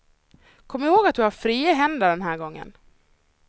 Kom ihåg att du har fria händer den här gången.